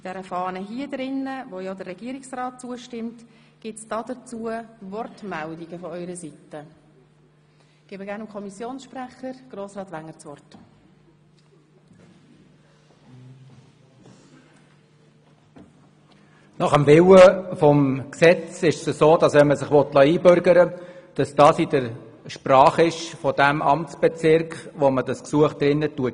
der SiK. Wenn man sich einbürgern lassen will, geschieht dies nach dem Willen des Gesetzes in der Sprache desjenigen Amtsbezirks, wo man das Gesuch einreicht.